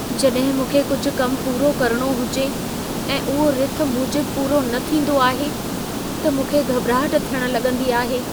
जॾहिं मूंखे कुझु कम पूरो करणो हुजे ऐं उहो रिथ मूजिबि पूरो न थींदो आहे, त मूंखे घॿिराहटु थियणु लगं॒दी आहे।